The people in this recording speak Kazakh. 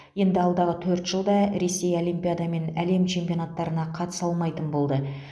енді алдағы төрт жылда ресей олимпиада мен әлем чемпионаттарына қатыса алмайтын болды